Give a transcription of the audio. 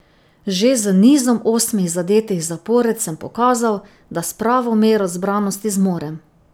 Že z nizom osmih zadetih zapored sem pokazal, da s pravo mero zbranosti zmorem.